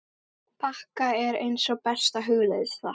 bakka er eins og besta hugleiðsla.